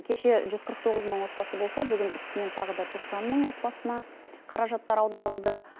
кеше жүз қырық тоғыз мың отбасы болса бүгін үстінен тағы да тоқсан мың отбасына қаражаттар аударылды